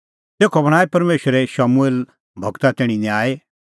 तेखअ बणांऐं परमेशरे शमूएल गूरा तैणीं न्यायी